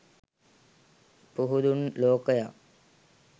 පුහුදුන් ලෝකයා